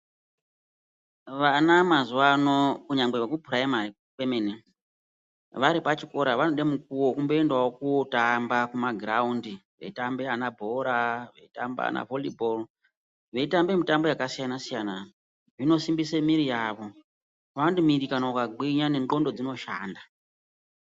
Vana mazuvano kunyangwe veku purayimari kwemene vari pachikora vanodawo mukuwo wokue dawo kunotamba kugroundi veitamba vanabhora vaira volleyball veitambawo mitambo yakasiyana siyana zvino sumbise miiri yavo vanoti miri akagwinya ne ndxondo dzinoshanda.